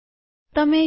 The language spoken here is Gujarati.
તમે જોઈ શકો